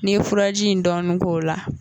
N'i ye furaji in dɔɔni k'o la